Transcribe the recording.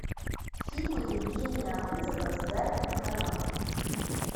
фильмы евгения абызова с гариком харламовым